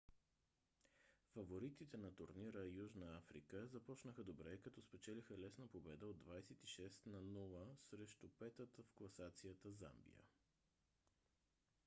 фаворитите на турнира южна африка започнаха добре като спечелиха лесна победа от 26 – 00 срещу 5-та в класацията замбия